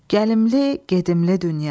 Gəlimli gedimli dünya.